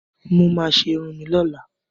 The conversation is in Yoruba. Mo ma ṣe irun mi ni ọlá.